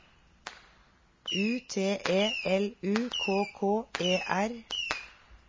U T E L U K K E R